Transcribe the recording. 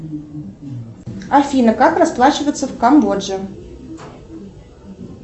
афина как расплачиваться в камбодже